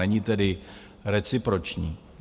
Není tedy reciproční.